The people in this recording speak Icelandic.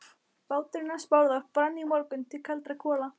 Báturinn hans Bárðar brann í morgun til kaldra kola.